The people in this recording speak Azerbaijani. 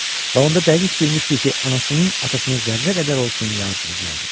Və onda dəqiq bilmişdi ki, anasının atasına zərrə qədər olsun yazığı gəlmir.